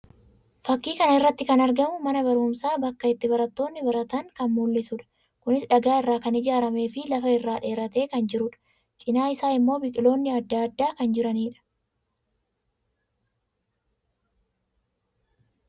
Fakkii kana irratti kan argamu mana barumsaa bakka itti barattoonni baratan kan mul'isuu dha. Kunis dhagaa irraa kan ijaaramee fi lafa irra dheeratee kan jiruu dha. Cina isaa immoo biqilloonni addaa addaa kan jiranii dha.